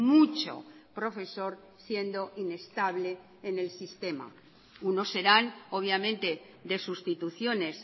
mucho profesor siendo inestable en el sistema unos serán obviamente de sustituciones